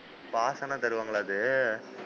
Pass ஆனா தருவாங்களா அது,